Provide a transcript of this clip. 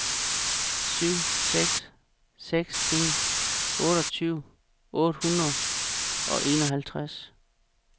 syv seks seks en otteogtyve otte hundrede og enoghalvtreds